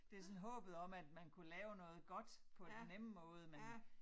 Det sådan håbet om at man kunne lave noget godt på den nemme måde men